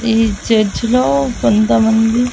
ఈ చర్చ్ లో కొంతమంది--